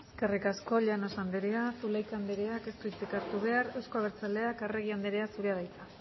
eskerrik asko llanos anderea zulaika andereak ez du hitzik hartu behar euzko abertzaleak arregi anderea zurea da hitza